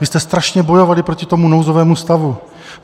Vy jste strašně bojovali proti tomu nouzovému stavu.